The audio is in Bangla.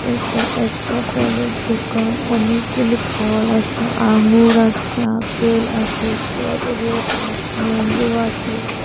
এটা একটা ফলের দোকান অনেকগুলি ফল আছে আঙ্গুর আছে আপেল আছে স্ট্রবেরি আছে ম্যাংগো আছে।